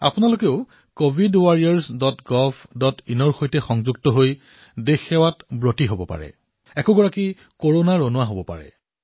আপোনালোকো covidwarriorsgovinৰ সৈতে জড়িত হৈ দেশৰ সেৱা কৰিব পাৰে কভিড যোদ্ধা হব পাৰে